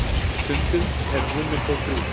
stundum eru rúmin þó þrjú